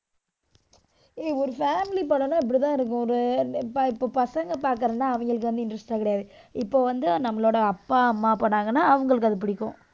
ஏய், ஒரு family படம்ன்னா இப்படித்தான் இருக்கும். ஒரு இப்ப இப்ப பசங்க பார்க்கறதுன்னா அவங்களுக்கு வந்து interest எல்லாம் கிடையாது. இப்ப வந்து, நம்மளோட அப்பா, அம்மா போனாங்கன்னா அவங்களுக்கு அது பிடிக்கும்.